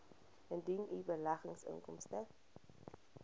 indien u beleggingsinkomste